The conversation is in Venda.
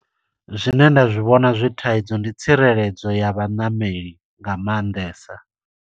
Zwine nda zwi vhona zwi thaidzo, ndi tsireledzo ya vhaṋameli nga maanḓesa.